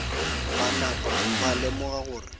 ba napa ba lemoga gore